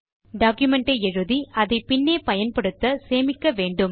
document ஐ எழுதி அதை பின்னே பயன்படுத்த சேமிக்க வேண்டும்